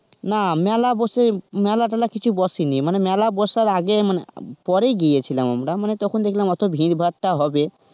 না মেলা বসে মেলা টোল কিছু বসেনি মানে মেলা বসার আগে মানে পরে গিয়েছিলাম আমরা তখন দেখলাম ভিড় ভারটা হবে.